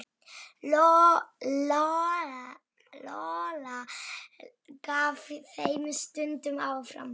Lóa-Lóa gaf þeim stundum arfa.